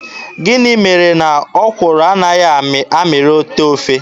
Gịnị mere na ọkwụrụ anaghị amịrị otee ofe.